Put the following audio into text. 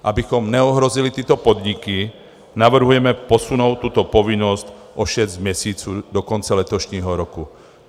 Abychom neohrozili tyto podniky, navrhujeme posunout tuto povinnost o šest měsíců do konce letošního roku.